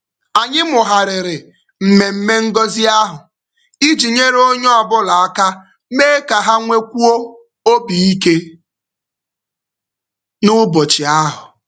Anyị mụgharịrị mmemme ngọzi ahụ iji nyere onye ọbụla aka mee ka ha nwekwuo obi ike n'ụbọchị ahụ.